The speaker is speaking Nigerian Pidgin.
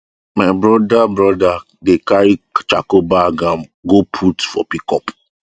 my brother brother dey carry charcoal bag um go put for pickup